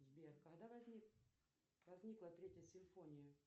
сбер когда возникла третья симфония